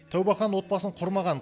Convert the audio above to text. тәубәхан отбасын құрмаған